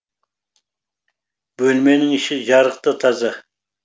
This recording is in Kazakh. бөлменің іші жарық та таза